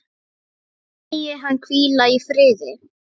Megi hann hvíla í friði.